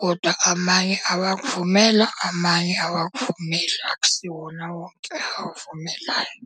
Koda amanye awakuvumela amanye awakuvumeli. Akusiwona wonke akuvumelayo.